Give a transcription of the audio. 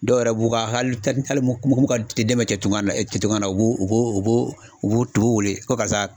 Dɔw yɛrɛ b'u ka hali mun mun ka den bɛ tunkan na tunkan na u b'u u b'u u b'u wele ko karisa